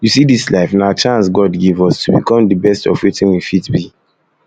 you see dis life na chance god give us to become the best of wetin we fit be